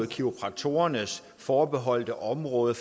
kiropraktorernes forbeholdte område